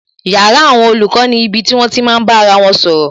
Yàrá àwọn olùkọ́ ni ibi tí wón ti máa bá ara wọn sọ̀rọ̀